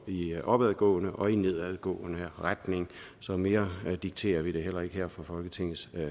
i opadgående og i nedadgående retning så mere dikterer vi det heller ikke her fra folketingets